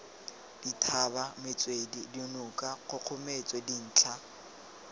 dithaba metswedi dinoka kgogometso dintlha